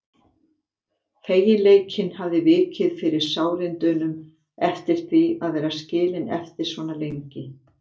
Feginleikinn hafði vikið fyrir sárindunum yfir því að vera skilin eftir svona lengi.